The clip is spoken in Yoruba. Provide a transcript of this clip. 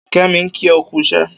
Kemi n kí ọ kù ìṣẹ̀